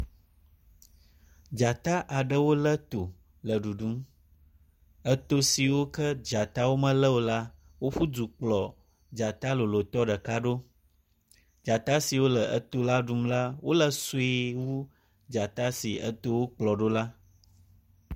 Dzata aɖewo le to le ɖuɖum. Eto siwo ke dzatawo mele o la woƒu du kplɔ dzata lolotɔ ɖeka ɖo. dzata siwo le eto la ɖum la wo le sue wu dzata si etowo kplɔ ɖo la.